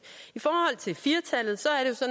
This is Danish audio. i forhold til firtallet